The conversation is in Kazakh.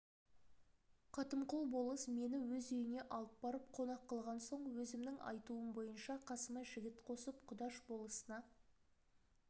қатымқұл болыс мені өз үйіне алып барып қонақ қылған соң өзімнің айтуым бойынша қасыма жігіт қосып құдаш болысына